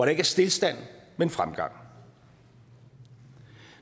ikke er stilstand men fremgang